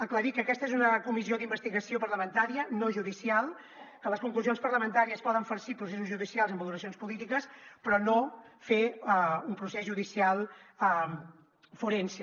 aclarir que aquesta és una comissió d’investigació parlamentària no judicial que les conclusions parlamentàries poden farcir processos judicials amb valoracions polítiques però no fer un procés judicial forense